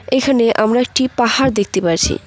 এখানে আমরা একটি পাহাড় দেখতে পাচ্ছি।